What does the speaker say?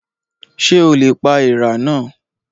Ṣé o lè pa èèrà náà?